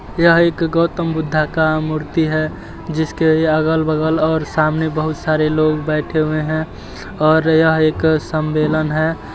यह एक गौतम बुद्धा का मूर्ति है जिसके यागल -बगल और सामने बहुत सारे लोग बैठे हुए हैं और यह एक सम्बेलन है।